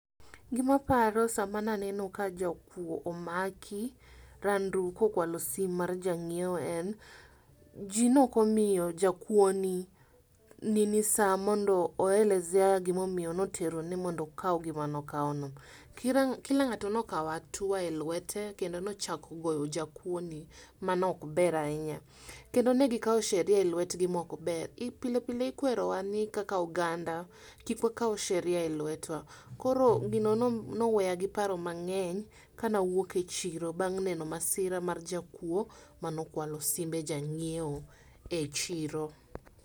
Gimaparo sama naneno ka jakwo omaki Randuu kokwalo sim mar jang'iwo en, jii nokomio jakwo ni nini saa mondo oelezea gimomio notero ni mondo okao gima nokao no. Kira kila ng'ato nokao atua e lwete kendo nochako goyo jakwuoni, manokber ahinya. Kend negikao sheria e lwetgi mokber. I pilepile ikwerowa ni kaka oganda kik wakau sheria e lwetwa. Koro gino nom noweya gi paro mang'eny kanawuok e chiro bang' neno masira mar jakwo manokwalo simbe jang'iewo e chiro.